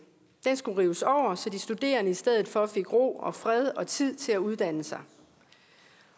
den skulle rives over så de studerende i stedet for fik ro og fred og tid til at uddanne sig